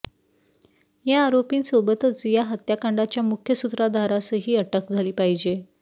या आरोपींसोबतच या हत्याकांडाच्या मुख्य सूत्रधारासही अटक झाली पाहिजे